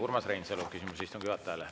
Urmas Reinsalu, küsimus istungi juhatajale.